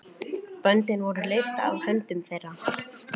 Böndin voru leyst af höndum þeirra.